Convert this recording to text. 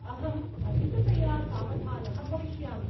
अहम् अधिकतया सावधानः भविष्यामि।